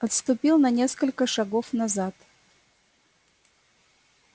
отступил на несколько шагов назад